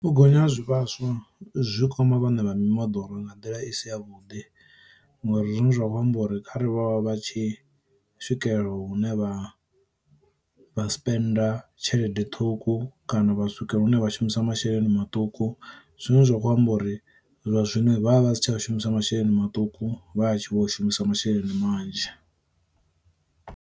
U gonya ha zwivhaswa zwi kwama vhane vha mimoḓoro nga nḓila i si ya vhuḓi ngori zwiṅwe zwa khou amba uri kharali vha vha vha tshi swikelela hune vha vha si penda tshelede ṱhukhu kana vha swika hune vha shumisa masheleni maṱuku. Zwine zwa khou amba uri zwa zwino vha vha vha si tsha u shumisa masheleni maṱuku vha a tshi vho u shumisa masheleni manzhi.